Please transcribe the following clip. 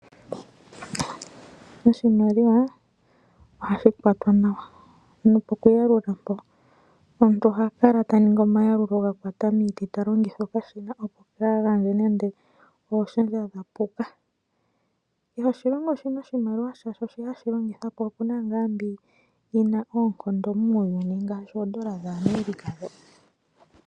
Oshimaliwa ohashi kwatwa nawa nopokuyalulwa mpoka omuntu ohakala taningi omayalulo gakwata miiti talongitha okashina opo kaagandje nande ooshendja dhapuka. Kehe oshilongo oshina oshimaliwa shasho shi hashi longitha po opuna ngaa mbi yina oonkondo muuyuni ngaashi oondola dhaAmerica dho.